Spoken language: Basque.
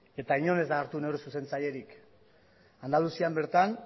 eta inon ez da hartu neure zuzentzailerik andalusian bertan